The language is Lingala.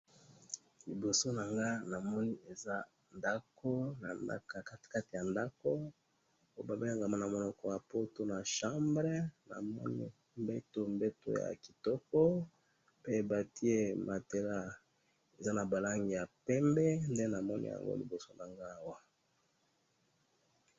liboso nanga namoni eza ndaku nakatikati ya ndaku namoni oyo ba bengaka na munoko ya poto na chambre namoni mbetu mbetu ya kitoko pe batiye matela eza naba langi ya pembe nde namoni na liboso nangayi awa.